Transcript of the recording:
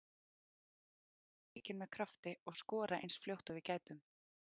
Hann bað okkur að byrja leikinn með krafti og skora eins fljótt og við gætum.